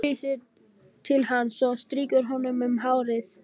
Hún teygir sig til hans og strýkur honum um hárið.